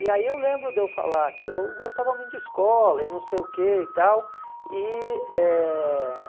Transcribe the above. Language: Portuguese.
E aí eu lembro de eu falar que eu gostava muito de escola e não sei o que e tal. E eh